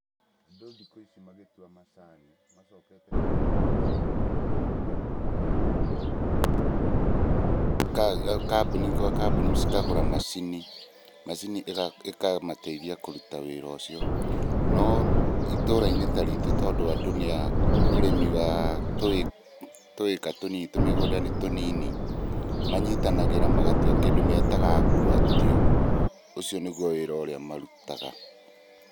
Andũ thikũ ici magĩtua macani, macokete kũnyitanĩra magatua me hamwe, kambuni gwa kambuni cikagũra macini. Macini ĩkamateithia kũruta wĩra ũcio. No itũra-inĩ ta ritũ tondũ andũ nĩ a ũrĩmi wa tũĩka tũnini tũmigũnda nĩ tũnini, manyitanagĩra magatua, kĩndũ metaga ngwatio. Ũcio nĩguo wĩra ũrĩa marutaga.